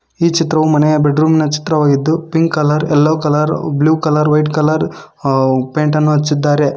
ಈ ಚಿತ್ರವು ಮನೆಯ ಬೆಡ್ರೂಮ್ ನ ಚಿತ್ರವಾಗಿದ್ದು pink colour yellow colour blue colour white colour ಅ ಪೇಂಟ್ ಅನ್ನು ಹಚ್ಚಿದ್ದಾರೆ.